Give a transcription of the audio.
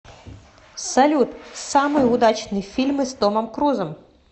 салют самые удачные фильмы с томом крузом